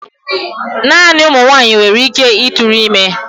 Naanị ụmụ nwanyị nwere ike ịtụrụ ime.